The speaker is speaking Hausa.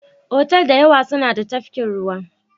Otal da yawa suna da tafkin ruwa.